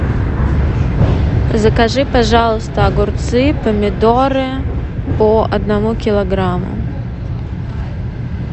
закажи пожалуйста огурцы помидоры по одному килограмму